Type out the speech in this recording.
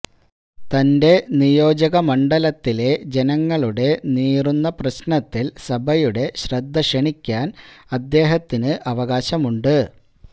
തന്റെ നിയോജമ മണ്ഡലത്തിലെ ജനങ്ങളുടെ നീറുന്ന പ്രശ്നത്തില് സഭയുടെ ശ്രദ്ധക്ഷണിക്കാന് അദ്ദേഹത്തിന് അവകാശമുണ്ട്